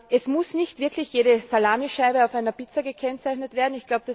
Es muss nicht wirklich jede Salamischeibe auf einer Pizza gekennzeichnet werden.